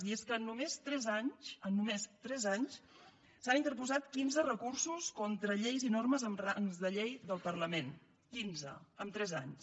i és que en només tres anys en només tres anys s’han interposat quinze recursos contra lleis i normes amb rang de llei del parlament quinze en tres anys